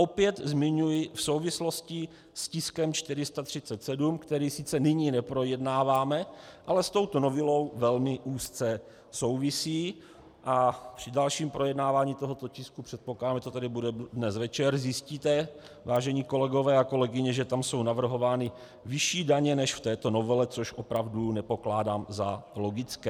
Opět zmiňuji v souvislosti s tiskem 437, který sice nyní neprojednáváme, ale s touto novelou velmi úzce souvisí, a při dalším projednávání tohoto tisku, předpokládám, že to tady bude dnes večer, zjistíte, vážení kolegové a kolegyně, že tam jsou navrhovány vyšší daně než v této novele, což opravdu nepokládám za logické.